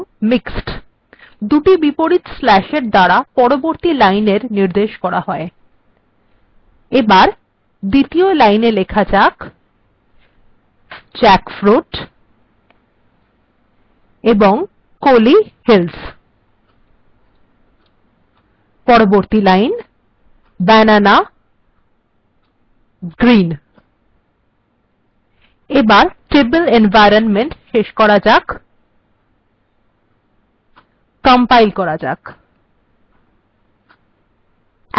দুটি বিপরীত স্ল্যাশ্এর দ্বারা পরবর্তী লাইনএর নির্দেশ করা হয় এবার দ্বিতীয় লাইনে লেখা যাক jackfruit এবং kolli hills পরবর্তী লাইনএ banana green এবার tabular এনভয়রনমেন্ট্ শেষ করা যাক কম্পাইল্ করা যাক